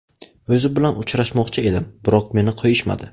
O‘zi bilan uchrashmoqchi edim, biroq meni qo‘yishmadi.